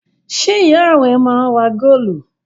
Ṣé ìyá rẹ máa ń ra góólù?